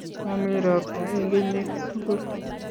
Mami robta eng kenyit tugul